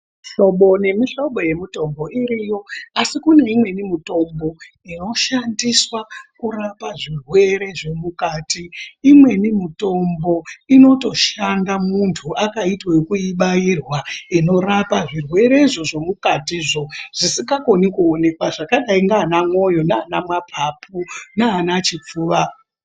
Mihlobo nemihlobo yemitombo iriyo asi kuneimweni mitombo inoshandiswa kurapa zvirwere zvemukati .Imweni mutombo inotoshanda muntu akaiite yekuibairwa inorapa zvirwerezvo zvomukatizvo, zvisikakoni kuonekwa zvakaite sanamwoyo nana mwapapu nanachipfuva.